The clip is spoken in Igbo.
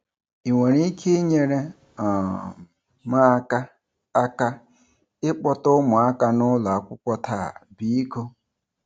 Ị nwere ike inyere um m aka aka ịkpọta ụmụaka n'ụlọakwụkwọ taa, biko?